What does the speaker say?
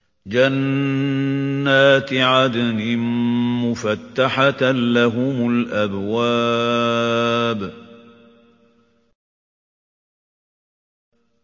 جَنَّاتِ عَدْنٍ مُّفَتَّحَةً لَّهُمُ الْأَبْوَابُ